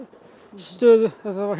stöðu